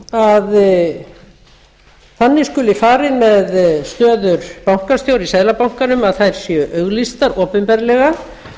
að þannig skuli farið með stöður bankastjóra í seðlabanka að þær séu auglýstar opinberlega